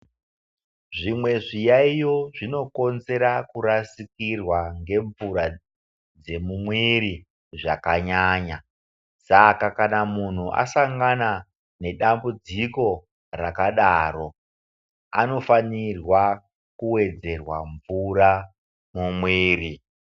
Zvimwe zviyaiyo zvinokonzera kurasikirwa ngemvura dzemumwiri zvakanyanya. Saka kana muntu asangana ngedambudziko rakadaro anofanirwa kuwedzerwa mvura mumwiri.